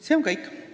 See on kõik.